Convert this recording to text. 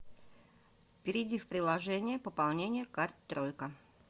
перейди в приложение пополнение карт тройка